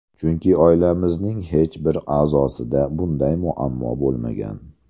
Chunki oilamizning hech bir a’zosida bunday muammo bo‘lmagan.